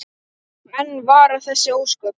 Og enn vara þessi ósköp.